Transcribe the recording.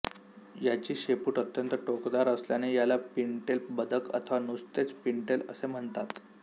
याची शेपूट अत्यंत टोकदार असल्याने याला पिनटेल बदक अथवा नुसतेच पिन्टेल असे म्हणतात